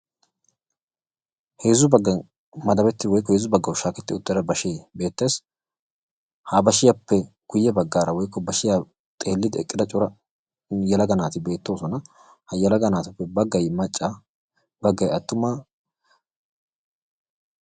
Heezzu baggan madabettida woykko heezzu baggawu shaahettida bashshee beettees. ha bashshiyaappe guye baggaara woykko bashshiyaa xeelliidi eqqida cora yelaga naati beettoosona. ha yelaga naatuppe baggay attuma baggay macca